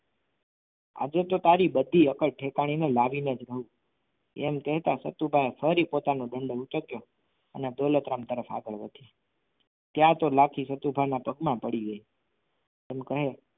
આજે તો તારી બધી અક્કલ ઠેકાણે લાવીને જ રહું એમ કહીને સતુભાઈ ફરી પોતાનો દંડો ઊંચક્યો અને દોલતરામ તરફ આગળ વધ્યા ત્યાં તો લાઠી સતુભા ના પગમાં પડી ગઈ એમ કહી